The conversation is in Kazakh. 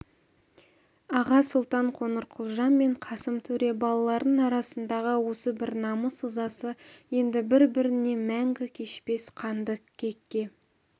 аға сұлтан қоңырқұлжа мен қасым төре балаларының арасындағы осы бір намыс ызасы енді бір-біріне мәңгі кешпес қанды кекке